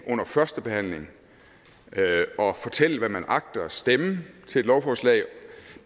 under førstebehandlingen og fortælle hvad man agter at stemme til et lovforslag